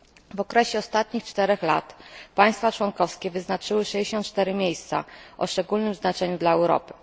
W okresie ostatnich 4 lat państwa członkowskie wyznaczyły 64 miejsca o szczególnym znaczeniu dla Europy.